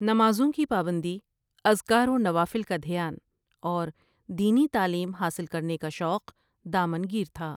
نمازوں کی پابندی، اذکار و نوافل کا دھیان اور دینی تعلیم حاصل کرنے کا شوق دامن گیر تھا ۔